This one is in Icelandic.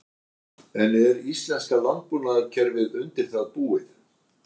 En er íslenska landbúnaðarkerfið undir það búið?